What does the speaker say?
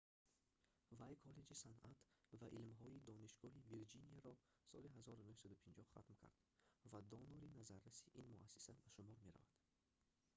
вай коллеҷи санъат ва илмҳои донишгоҳи вирҷинияро соли 1950 хатм кард ва донори назарраси ин муассиса ба шумор мерафт